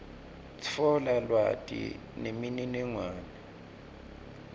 tfola lwati nemininingwane